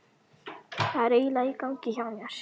Hvað er eiginlega í gangi hjá mér?